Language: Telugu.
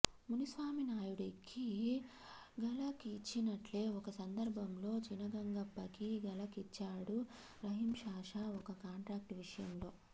మునిస్వామినాయుడికి ఝలక్ ఇచ్చినట్లే ఒక సందర్భంలో చినగంగప్పకీ ఝలక్ ఇచ్చాడు రహీంపాషా ఒక కాంట్రాక్ట్ విషయంలో